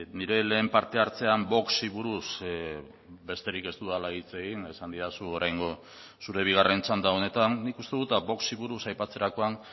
nire lehen partehartzean voxi buruz besterik ez dudala hitz egin esan didazu oraingo zure bigarren txanda honetan nik uste dut voxi buruz aipatzerakoan